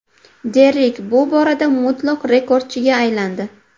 Derrik bu borada mutlaq rekordchiga aylandi.